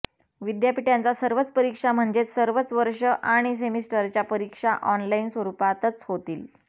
विद्यापीठांच्या सर्वच परीक्षा म्हणजेच सर्वच वर्ष आणि सेमिस्टरच्या परीक्षा ऑनलाईन स्वरुपातच होतील